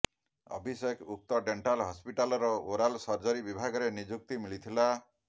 ଅଭିଷେକ ଉକ୍ତ ଡେଣ୍ଟାଲ ହସ୍ପିଟାଲର oral surgery ବିଭାଗରେ ନିଯୁକ୍ତି ମିଳିଥିଲା